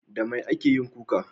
Da mai ake yin kuka?